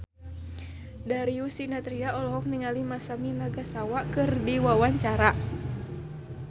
Darius Sinathrya olohok ningali Masami Nagasawa keur diwawancara